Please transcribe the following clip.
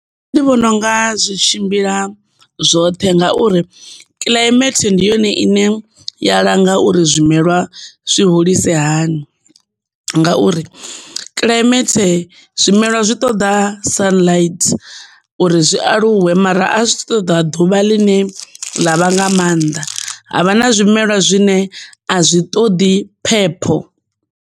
Nṋe ndi vhona unga zwi tshimbila zwoṱhe ngauri kilaimethe ndi yone ine ya langa uri zwimelwa zwi hulise hani ngauri kilaimethe zwimelwa zwi ṱoda sunlight, uri zwi aluwe mara a zwi ṱoḓa ḓuvha ḽine ḽa vha nga maanḓa havha na zwimela zwine a zwi ṱoḓi phepho.